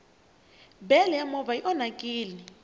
bele ya movha i onhakini